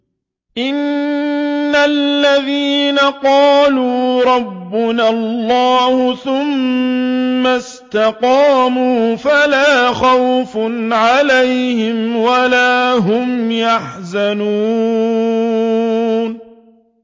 إِنَّ الَّذِينَ قَالُوا رَبُّنَا اللَّهُ ثُمَّ اسْتَقَامُوا فَلَا خَوْفٌ عَلَيْهِمْ وَلَا هُمْ يَحْزَنُونَ